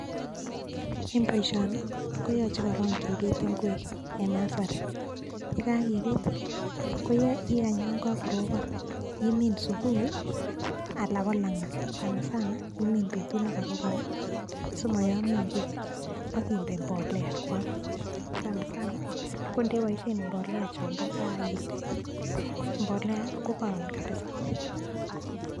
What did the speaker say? En boishonii koyoche korong kibiit ingwek en nursery yekakibiit ii ikany Yoon ka korobon imin subui ii alan ko langat sanasana imin betut nekorobon simoyomio ingwek ak indee mbolea koam sasanasana indeboishen mbolea chombo kaa indee kokoroom kabisa.